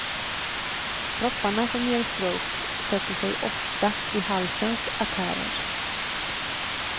Propparna som ger stroke sätter sig ofta i halsens artärer.